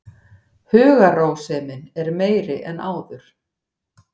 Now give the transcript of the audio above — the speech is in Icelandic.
Hugarrósemin er meiri en áður.